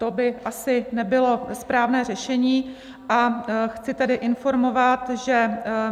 To by asi nebylo správné řešení, a chci tedy informovat, že